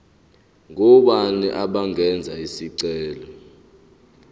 ngobani abangenza isicelo